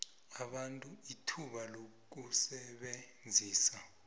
abantu ithuba lokusebenzisa